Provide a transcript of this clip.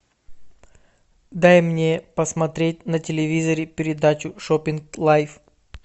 дай мне посмотреть на телевизоре передачу шопинг лайф